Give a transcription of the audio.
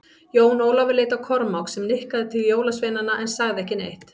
Jón Ólafur leit á Kormák, sem nikkaði til jólasveinana en sagði ekki neitt.